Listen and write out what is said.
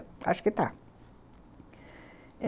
Acho que está.